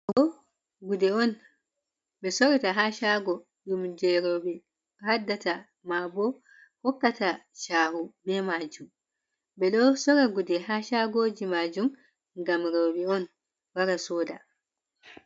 Gude sorata ha shago, ɗum je rewɓe haddata, ma bo hokkata shahu, be majun ɓe do sorra gude ha shagoji majum gam rewɓe on wara soda.